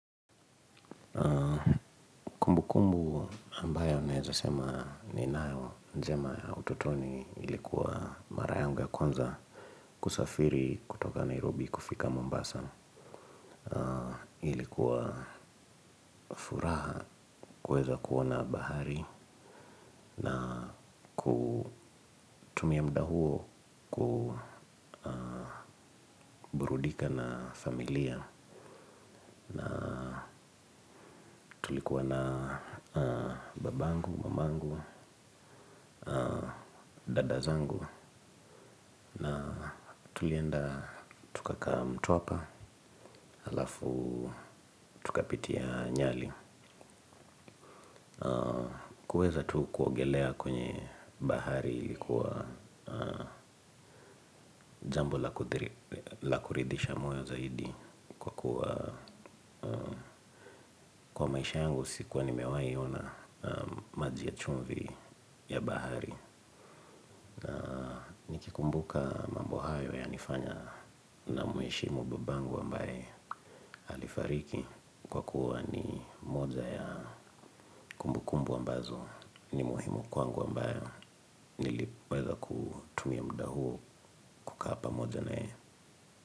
Kumbukumbu ambayo naeza sema ninao njema ya ututoni ilikuwa mara yangu ya kwanza kusafiri kutoka Nairobi kufika Mombasa. Ilikuwa furaha kuweza kuona bahari na kutumia muda huo kuburudika na familia. Na tulikuwa na babangu, mamangu, dada zangu na tulienda tukakaa mtwapa. Halafu tukapitia nyali kuweza tu kuongelea kwenye bahari ilikuwa jambo la kuridhisha moyo zaidi kwa kuwa kwa maisha yangu sikuwa nimewai ona maji ya chumvi ya bahari kumbuka mambo hayo yanifanya ninamuheshimu babangu ambaye alifariki kwa kuwa ni moja ya kumbukumbu ambazo ni muhimu kwangu ambayo niliweza kutumia muda huo kukaa pamoja na yeye.